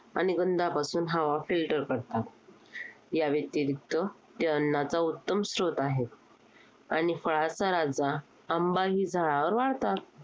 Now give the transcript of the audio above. आणि गंधांपासून हवा filter करतात, य़ा व्यतिरिक्त ते अन्नाचा उत्तम स्रोत आहेत. आणि फळाचा राजा आंबाही झाडांवर वाढतात.